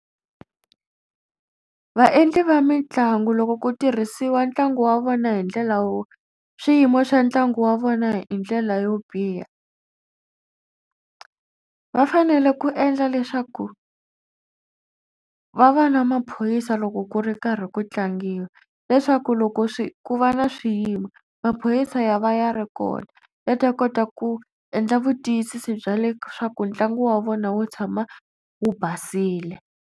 Vaendli va mitlangu loko ku tirhisiwa ntlangu wa vona hi ndlela wo swiyimo swa ntlangu wa vona hi ndlela yo biha va fanele ku endla leswaku va va na maphorisa loko ku ri karhi ku tlangiwa leswaku loko swi ku va na swiyimo maphorisa ya va ya ri kona va ta kota ku endla vutiyisisi bya leswaku ntlangu wa vona wo tshama wu basile.